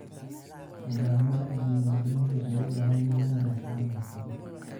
Nidaamyada diiwaangelintu waxay u baahan yihiin wadashaqeyn xirfadeed.